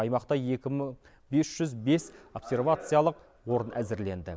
аймақта екі мың бес жүз бес обсервациялық орын әзірленді